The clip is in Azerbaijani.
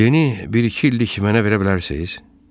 Deni bir-iki illik mənə verə bilərsiz?